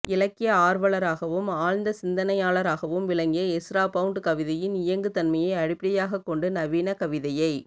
இலக்கிய ஆர்வலராகவும் ஆழ்ந்த சிந்தனையாளராகவும் விளங்கிய எஸ்ரா பவுண்ட் கவிதையின் இயங்கு தன்மையை அடிப்படையாகக் கொண்டு நவீன கவிதையை